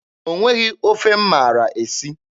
O nweghị ofe m maara esi.